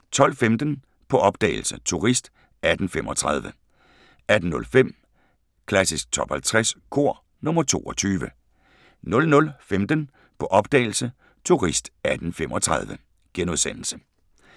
12:15: På opdagelse – Turist 1835 18:05: Klassisk Top 50 Kor – nr. 22 00:15: På opdagelse – Turist 1835 *